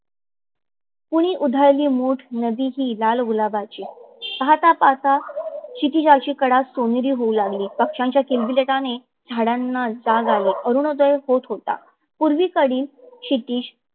कुणी उधळली मुठ नदीची लाल गुलाबाची, पाहता पाहता शितीजाचीई कडा सोनेरी होऊ लागली. पक्षाच्या किलबिटाने झाडांना जाग आली. अरोनोद्य होत होता. पूर्वी कडे क्षितीज